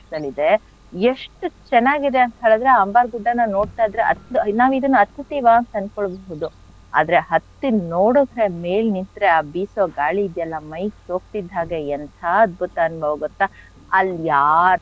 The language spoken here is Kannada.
ದಲ್ಲಿದೆ ಎಷ್ಟು ಚೆನ್ನಾಗಿದೆ ಅಂತ್ ಹೇಳಿದ್ರೆ ಅಂಬಾರ್ ಗುಡ್ಡನ ನೋಡ್ತಾ ಇದ್ರೆ ಹ~ ನಾವಿದನ್ನ ಹತ್ತತ್ತೀವ ಅಂಥ ಅನ್ಕೊಳ್ಬಹುದ್ ಆದ್ರೆ ಹತ್ತಿ ನೋಡಿದ್ರೆ ಮೇಲ್ ನಿಂತ್ರೆ ಆ ಬೀಸೋ ಗಾಳಿ ಇದ್ಯಲ್ಲ ಮೈಗೆ ಸೋಕ್ತಿದ್ ಹಾಗೆ ಎಂಥ ಅದ್ಭುತ ಅನುಭವ ಗೊತ್ತ, ಅಲ್ ಯಾರ್,